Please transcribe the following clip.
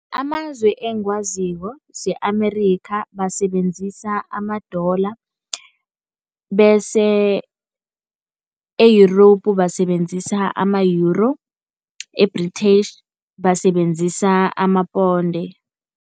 Amazwe engiwaziko se-America basebenzisa ama-dollar bese e-Europe basebenzisa ama-euro, e-Britaish basebenzisa amaponde.